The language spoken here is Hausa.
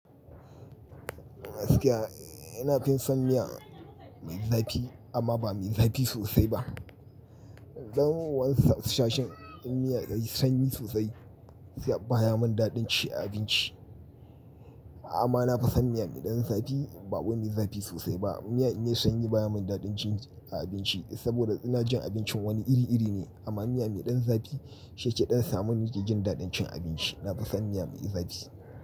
Gaskiya ina fin son miya mai zafi amma ba mai zafi sosai ba. Don waensu sashin in miya yayi sanyi sosai sai baya mun daɗin ci a abinci. Amma na fi son miya mai ɗan zafi ba wani zafi sosai ba. Miya in yayi sanyi baya mun daɗin ci a abinci saboda ina jin abincin wani iri iri ne. Amma miya mai ɗan zafi shi yake ɗan samun nike jin daɗin cin abinci. Na fi son miya mai zafi.